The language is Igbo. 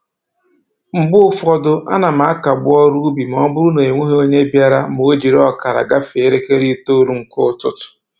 Mgbe ụfọdụ, a na m akagbu ọrụ ubi ma ọ bụrụ n'onweghị onye bịara ma o jiri ọkara gafee elekere itoolu nke ụtụtụ